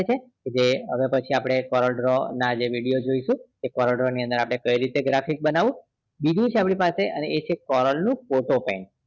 જે હવે પછી આપણે ના video જોઈશું કે આપણે કેવી રીતે graphics બનાવું બીજું છે આપની પાસે foreign look photo frame